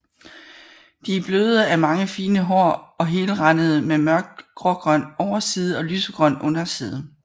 De er bløde af mange fine hår og helrandede med mørkt grågrøn overside og lysegrøn underside